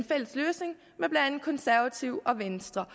fælles løsning med blandt andet konservative og venstre